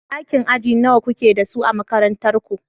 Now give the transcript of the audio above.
Ɗakin aji nawa kuke da su a makarantar ku.